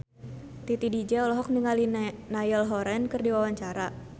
Titi DJ olohok ningali Niall Horran keur diwawancara